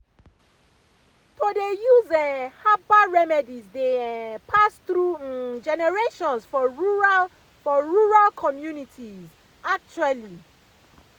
to dey use um herbal remedies dey um pass through um generations for rural for rural communities pause actually